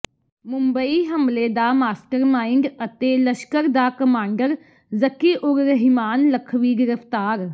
ਮੁੰਬਈ ਹਮਲੇ ਦਾ ਮਾਸਟਰਮਾਈਂਡ ਅਤੇ ਲਸ਼ਕਰ ਦਾ ਕਮਾਂਡਰ ਜ਼ਕੀ ਉਰ ਰਹਿਮਾਨ ਲਖਵੀ ਗ੍ਰਿਫਤਾਰ